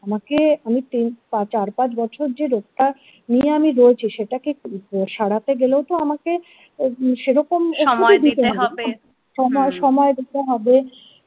আমাকে আমি তিন চার পাঁচ বছর যে রোগটা নিয়ে আমি রয়েছি সেটাকে সারাতে গেলেও তো আমাকে সেরক সময় সময় দিতে হবে।